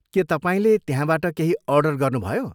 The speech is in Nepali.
के तपाईँले त्यहाँबाट केही अर्डर गर्नुभयो?